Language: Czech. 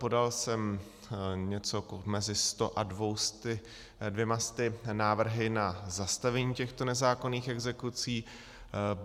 Podal jsem něco mezi 100 a 200 návrhy na zastavení těchto nezákonných exekucí.